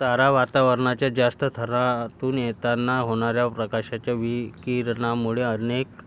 तारा वातावरणाच्या जास्त थरातून येताना होणाऱ्या प्रकाशाच्या विकिरणामुळे अनेक